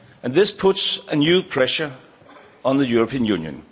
This puts new pressure on the European Union.